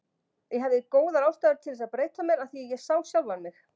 Ég hafði góðar aðstæður til þess að breyta mér, af því ég sá sjálfan mig.